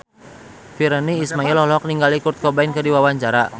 Virnie Ismail olohok ningali Kurt Cobain keur diwawancara